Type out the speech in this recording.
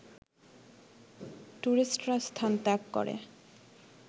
টুরিস্টরা স্থান ত্যাগ করে